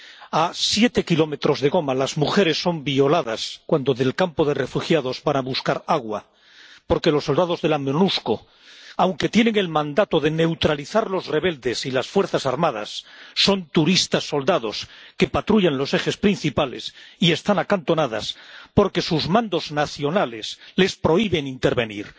A siete kilómetros de Goma, las mujeres son violadas cuando salen del campo de refugiados para ir a buscar agua, porque los soldados de la Monusco, aunque tienen el mandato de neutralizar a los rebeldes y a las fuerzas armadas, son turistas soldado —que patrullan los ejes principales y están acantonados—, porque sus mandos nacionales les prohíben intervenir.